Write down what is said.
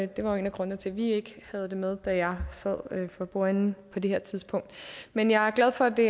det var jo en af grundene til at vi ikke havde det med da jeg sad for bordenden på det her tidspunkt men jeg er glad for at det